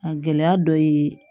A gɛlɛya dɔ ye